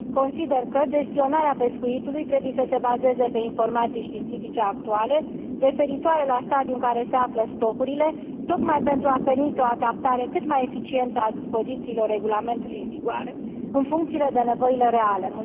Consider că gestionarea pescuitului trebuie să se bazeze pe informații științifice actuale, referitoare la stadiul în care se află stocurile, tocmai pentru a permite o adaptare cât mai eficientă a dispozițiilor regulamentului în vigoare, în funcție de nevoile reale.